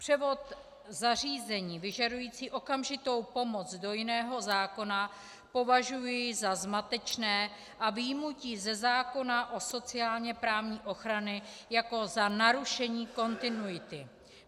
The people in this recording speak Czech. Převod zařízení vyžadující okamžitou pomoc do jiného zákona považuji za zmatečný a vyjmutí ze zákona o sociálně-právní ochrany jako za narušení kontinuity.